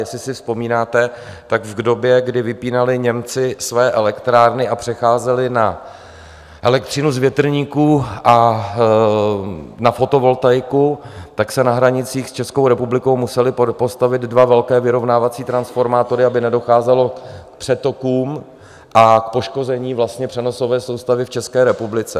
Jestli si vzpomínáte, tak v době, kdy vypínali Němci své elektrárny a přecházeli na elektřinu z větrníků a na fotovoltaiku, tak se na hranicích s Českou republikou musely postavit dva velké vyrovnávací transformátory, aby nedocházelo k přetokům a k poškození přenosové soustavy v České republice.